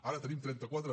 ara tenim trenta quatre